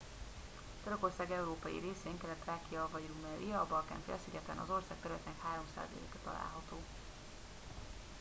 törökország európai részén kelet-thrákia vagy rumelia a balkán-félszigeten az ország területének 3%-a található